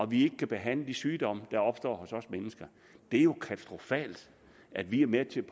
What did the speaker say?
vi ikke kan behandle de sygdomme der opstår hos os mennesker det er jo katastrofalt at vi er med til